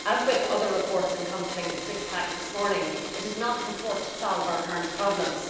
As with other reports encompassing the six pack this morning, it does not purport to solve our current problems.